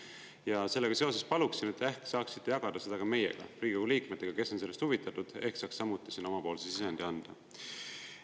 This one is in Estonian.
Ja sellega seoses paluksin, et te ehk saaksite jagada seda ka meiega, Riigikogu liikmetega, kes on sellest huvitatud, ehk saaks samuti sinna omapoolse sisendi anda.